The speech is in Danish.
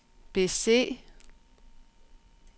bese